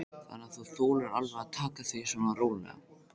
Þannig að þú þolir alveg að taka því svona rólega?